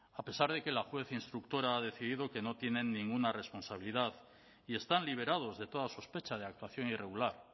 a pesar de que la juez instructora ha decidido que no tienen ninguna responsabilidad y están liberados de toda sospecha de actuación irregular